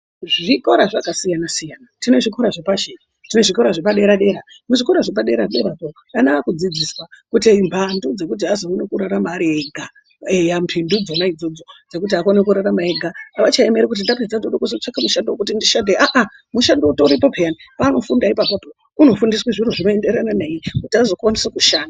Zvikora zvakasiyana siyana tine zvikora zvepashi tine zvikora zvepadera-dera muzvikora zvepaderako vana vakudzidziswa kuti mphandu dzekuti azoona kurarama ega mphindu dzonaa idzodzo dzekuti akone kurarama ari ega avachaemeri kuti ndoda kutsvaka mushando wekuti ndishande ahah mishando utoripo pheyani paanofunda apapo unofundiswa zviro zvinoenderana naye kuti azokwanisa kushanda.